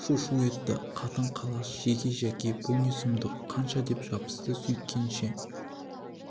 шу-шу етті қатын-қалаш шеге жәке бұл не сұмдық қанша деп жабысты сөйткенше